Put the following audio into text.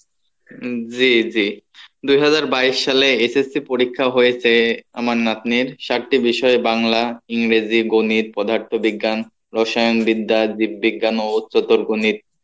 জি জি দু হাজার বাইশ সালে SSC পরীক্ষা হয়েছে আমার নাতনির সাতটি বিষয় বাংলা, ইংরেজি, গণিত, পদার্থ বিজ্ঞান, রসায়ন বিদ্যা, বিজ্ঞান ও চতুর গণিত